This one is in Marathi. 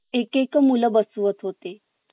एक एक मुलं वसली होती